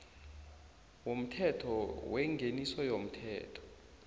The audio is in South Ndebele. yomthetho wengeniso yomthelo